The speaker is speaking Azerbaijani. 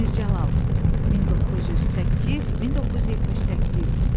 Mir Cəlal (1908-1978).